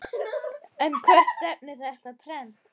En hvert stefnir þetta trend?